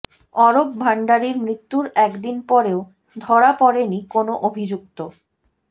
অরূপ ভাণ্ডারীর মৃত্যুর একদিন পরেও ধরা পড়েনি কোনও অভিযুক্ত